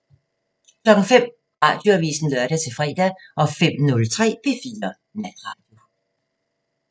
05:00: Radioavisen (lør-fre) 05:03: P4 Natradio